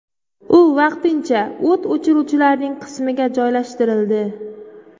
U vaqtincha o‘t o‘chiruvchilarning qismiga joylashtirildi.